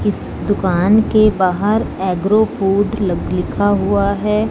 इस दुकान के बाहर एग्रो फूड लक लिखा हुआ है।